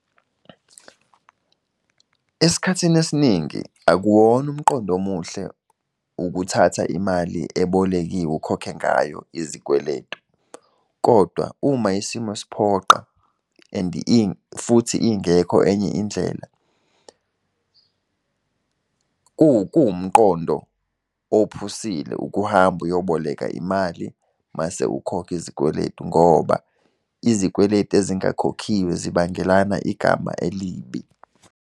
Esikhathini esiningi akuwona umqondo omuhle ukuthatha imali ebolekiwe ukhokhe ngayo izikweletu. Kodwa uma isimo siphoqa and futhi ingekho enye indlela, kuwumqondo ophusile ukuhamba ukuyoboleka imali mase ukhokha izikweleti ngoba izikweletu ezingakhokhiwe zibangelana igama elibi.